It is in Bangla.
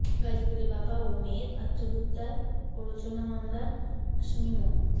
গাজীপুরের বাবা ও মেয়ের আত্মহত্যায় প্ররোচনা মামলার আসামি মো